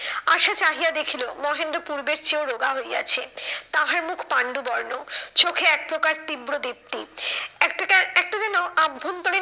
আশা চাহিয়া দেখিলো মহেন্দ্র পূর্বের চেয়েও রোগা হইয়াছে, তাহার মুখ পাণ্ডুবর্ণ। চোখে এক প্রকার তীব্র দীপ্তি। একটা একটা যেন অভ্যন্তরীণ